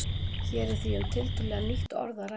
Hér er því um tiltölulega nýtt orð að ræða.